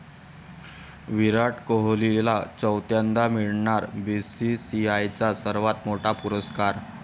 विराट कोहलीला चौथ्यांदा मिळणार बीसीसीआयचा सर्वात मोठा पुरस्कार